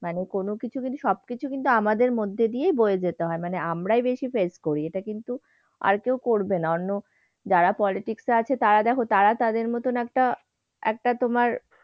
মানে কোন কিছু যদি সবকিছু কিন্তু আমাদের মধ্য দিয়েই বয়ে যেতে হয়। মানে আমরাই বেশি face করি। এটা কিন্তু আর কেউ করবে না। অন্য যারা politics এ আছে তারা দেখ তারা তাদের মতন একটা একটা তোমার,